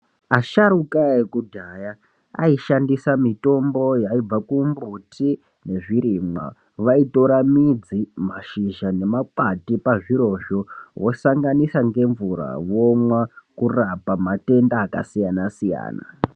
Asharuka ekudhaya aishandisa mitombo yaibva kumbuti nezvirimwa vaitora midzi ,mashizha nemakwati pazvirozvo vosanganisa ngemvura vomwa kurapa matenda akasiyanasiyana.